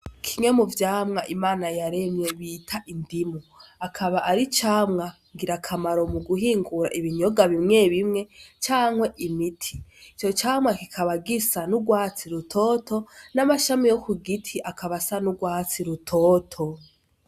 Kimwe mu vyamwa imana yaremye bita indimu akaba ari camwa ngira akamaro mu guhingura ibinyoga bimwe bimwe canke imiti ico camwa kikaba gisa n'urwatsi rutoto n'amashami yo ku giti akaba asa n'urwatsi rutoto.